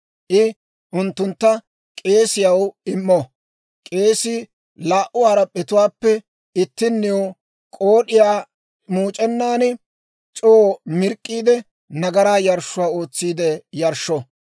I unttuntta k'eesiyaw immo. K'eesii laa"u harap'p'etuwaappe ittinniw k'ood'iyaa muuc'enan c'oo mirk'k'iide, nagaraa yarshshuwaa ootsiide yarshsho.